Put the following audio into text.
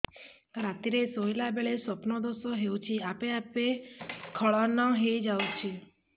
ରାତିରେ ଶୋଇଲା ବେଳେ ସ୍ବପ୍ନ ଦୋଷ ହେଉଛି ଆପେ ଆପେ ସ୍ଖଳନ ହେଇଯାଉଛି